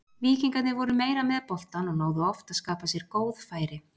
Víkingarnir voru meira með boltann og náðu oft að skapa sér góð færi.